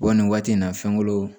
Bɔ nin waati in na fɛnko